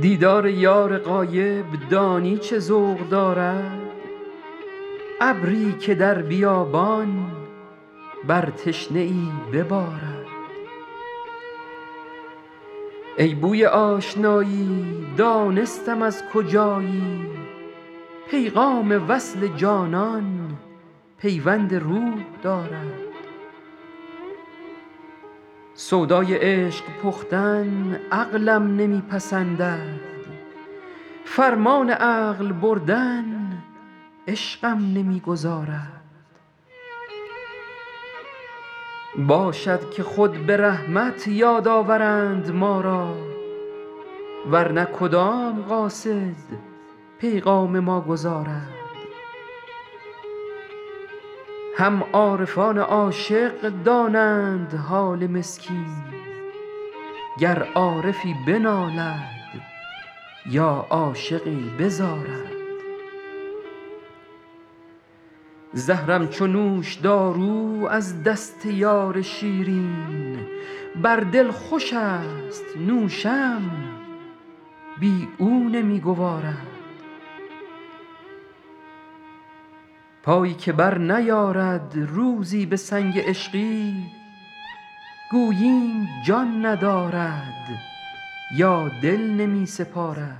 دیدار یار غایب دانی چه ذوق دارد ابری که در بیابان بر تشنه ای ببارد ای بوی آشنایی دانستم از کجایی پیغام وصل جانان پیوند روح دارد سودای عشق پختن عقلم نمی پسندد فرمان عقل بردن عشقم نمی گذارد باشد که خود به رحمت یاد آورند ما را ور نه کدام قاصد پیغام ما گزارد هم عارفان عاشق دانند حال مسکین گر عارفی بنالد یا عاشقی بزارد زهرم چو نوشدارو از دست یار شیرین بر دل خوشست نوشم بی او نمی گوارد پایی که برنیارد روزی به سنگ عشقی گوییم جان ندارد یا دل نمی سپارد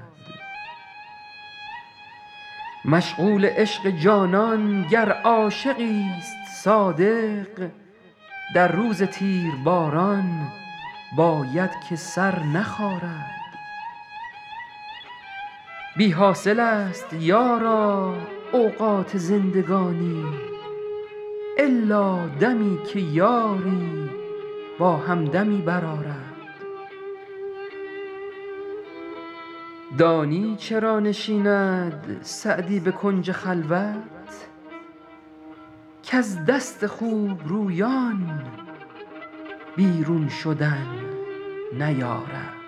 مشغول عشق جانان گر عاشقیست صادق در روز تیرباران باید که سر نخارد بی حاصلست یارا اوقات زندگانی الا دمی که یاری با همدمی برآرد دانی چرا نشیند سعدی به کنج خلوت کز دست خوبرویان بیرون شدن نیارد